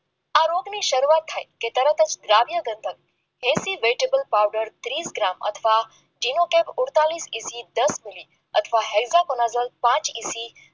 આ રોગની શરૂઆત થાય છે તારા ડીસી વેજીટેબલ પાવડર ફ્રી દસ મિનિટ હેક્ટર નજર પાંચ મિનિટ